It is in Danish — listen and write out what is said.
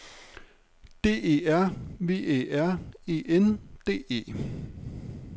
D E R V Æ R E N D E